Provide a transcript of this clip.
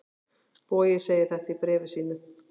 Bogi segir þetta í bréfi sínu: